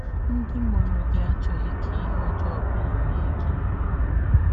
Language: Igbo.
Ndị mụrụ gị achọghị ka ihe ọjọọ ọ bụla mee ọ bụla mee gị.